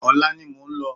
Ọ̀la ni mo ń lọ